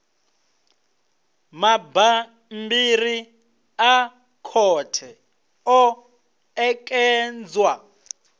mabammbiri a khothe o ṋekedzwa